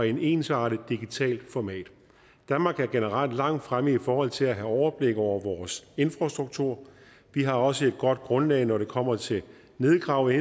et ensartet digitalt format danmark er generelt langt fremme i forhold til at have overblik over vores infrastruktur vi har også et godt grundlag når det kommer til at nedgrave